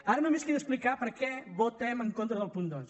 ara només queda explicar per què votem en contra del punt dos